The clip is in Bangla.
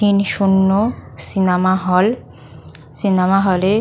তিন শুন্য সিনেমা হল সিনেমা হল -এ--